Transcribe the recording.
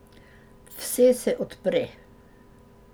Vse se odpre.